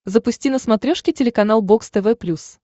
запусти на смотрешке телеканал бокс тв плюс